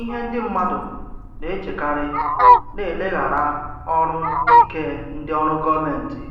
Ihe ndị mmadụ na-echekarị na-eleghara ọrụ ike ndị ọrụ gọmenti